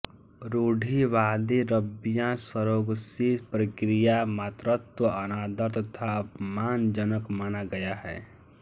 रूढीवादी रब्बियाँ सरोगसी प्रक्रिया मात्रत्व अनादर तथा अपमानजनक माना गया है